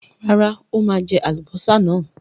Rárá, ó máa jẹ àlùbọ́sà náà.